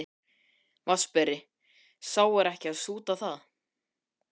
VATNSBERI: Sá er ekki að súta það.